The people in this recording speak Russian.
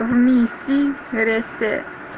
в миси рэсэ